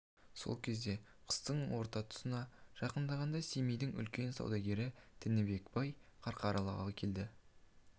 сол кезде қыстың орта тұсына жақындағанда семейдің үлкен саудагері тінібек бай қарқаралыға келді